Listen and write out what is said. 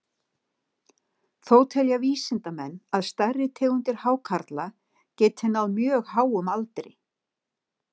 Þó telja vísindamenn að stærri tegundir hákarla geti náð mjög háum aldri.